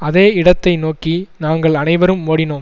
அதே இடத்தை நோக்கி நாங்கள் அனைவரும் ஓடினோம்